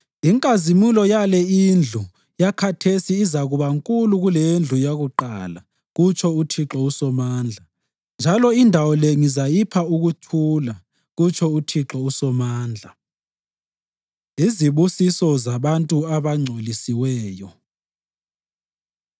‘Inkazimulo yale indlu yakhathesi izakuba nkulu kuleyendlu yakuqala,’ kutsho uThixo uSomandla. ‘Njalo indawo le ngizayipha ukuthula,’ kutsho uThixo uSomandla.” Izibusiso Zabantu Abangcolisiweyo